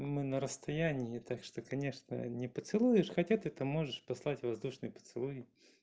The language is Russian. мы на расстоянии так что конечно не поцелуешь хотя ты то можешь послать воздушный поцелуй